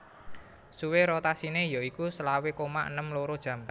Suwe rotasiné ya iku selawe koma enem loro jam